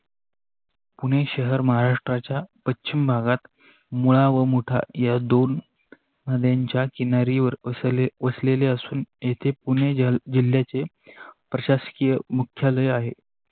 पुणे शहर महाराष्ट्राच्या पश्चिम भागात मुळा व मोठ या दोन नद्यांच्या किनारी वर वसलेले असून येथे पुणे जिल्याच प्रशासकीय मुख्यालय आहे.